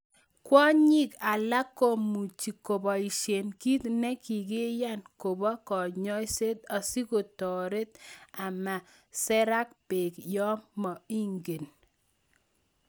Kwonyik alak komuche koboisien kit ne kikiyan kobo konyoiset asikotoret ama serak beek yon mo ingen